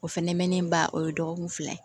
O fɛnɛ mɛnnen ba o ye dɔgɔkun fila ye